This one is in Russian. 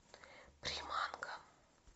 приманка